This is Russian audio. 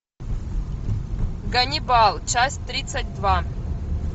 ганнибал часть тридцать два